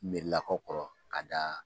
Mɛrilakaw kɔrɔ ka da.